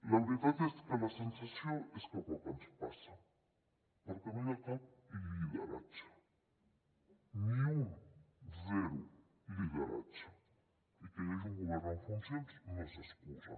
la veritat és que la sensació és que poc ens passa perquè no hi ha cap lideratge ni un zero lideratges i que hi hagi un govern en funcions no és excusa